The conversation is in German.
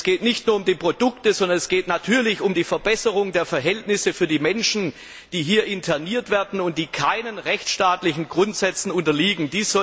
Es geht nicht nur um die Produkte, sondern es geht natürlich um die Verbesserung der Verhältnisse für die Menschen, die hier interniert werden und keinen rechtsstaatlichen Grundsätzen unterliegen.